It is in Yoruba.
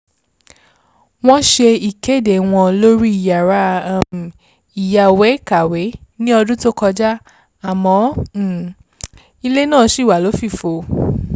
wọ́n ṣe ìkéde wọn lórí yàrá um ìyáwèé-kàwé ní ọdún tó kọjá àmọ́ um ilẹ̀ náà ṣì wà lófìfo